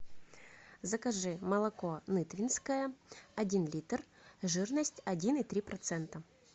закажи молоко нытвенское один литр жирность один и три процента